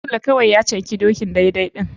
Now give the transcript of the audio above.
Sule kawai ya canki dokin daidai ɗin.